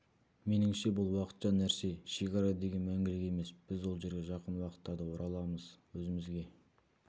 меніңше бұл уақытша нәрсе шекара деген мәңгілік емес біз ол жерге жақын уақытттарда ораламыз өзімізге